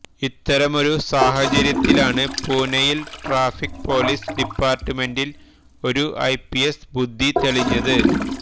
ഇത്തരമൊരു സാഹചര്യത്തിലാണ് പൂനെയില് ട്രാഫിക് പോലീസ് ഡിപ്പാര്ട്ട്മെന്റ്ില് ഒരു ഐപിഎസ് ബുദ്ധി തെളിഞ്ഞത്